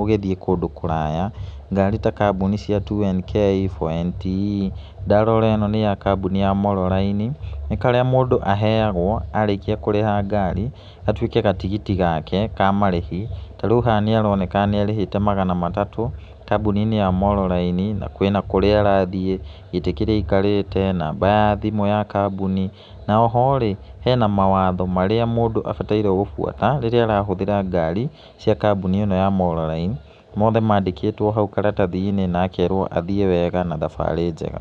ũgĩthiĩ kũndũ kũraya. Ngari ta kambuni cia 2NK, 4NTE. Ndarora ĩno nĩ ya kambuni ya Molo Line, nĩ karĩa mũndũ aheagwo arĩkia kũriha ngari gatuĩke gatigiti gake ka marĩhi, tondũ rĩu haha nĩ aronekeana nĩ arĩhĩte magana matatũ kambuni-inĩ ya MoloLine na kwĩna kũrĩa arathiĩ na kwĩna kũrĩa aikarĩte gĩtĩ kĩrĩa aikarĩte namba ya thimũ ya kambuni. Na oho rĩ, hena mawatho marĩa mũndũ agĩriirwo gũbuata rĩrĩa arahũthĩra ngari cia kambuni ĩno ya MoloLine, mothe mandĩkĩtwo hau karatathi-inĩ na akerwo athiĩ wega na thabarĩ njega.